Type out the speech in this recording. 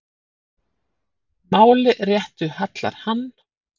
Máli réttu hallar hann,